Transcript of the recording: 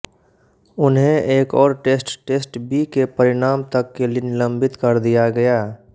उन्हें एक और टेस्ट टेस्ट बी के परिणाम तक के लिये निलम्बित कर दिया गया